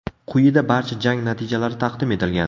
Quyida barcha jang natijalari taqdim etilgan.